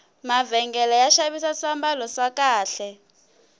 mavhengele ya xavisa swambalo swa kahle